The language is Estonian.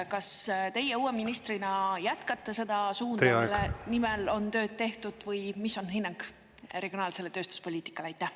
Kas teie uue ministrina jätkate seda suunda, mille nimel on tööd tehtud, või mis on hinnang regionaalsele tööstuspoliitikale?